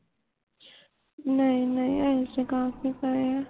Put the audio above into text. ਨਹੀਂ ਨਹੀਂ ਅਜੇ ਤੇ ਕਾਫੀ ਪਏ ਆ